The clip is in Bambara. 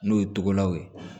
N'o ye togodaw ye